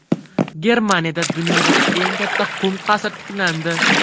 Germaniyada dunyodagi eng katta qum qasr tiklandi.